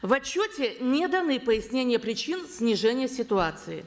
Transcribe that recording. в отчете не даны пояснения причин снижения ситуации